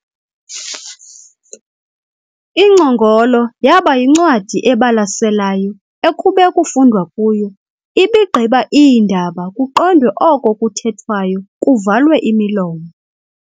Ingcongolo yaba yincwadi ebalaselayo ekube kufundwa kuyo, iibigqiba iindaba, kuqondwe oko kuthethwayo kuvalwe imilomo.